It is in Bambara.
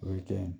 O ye kɛ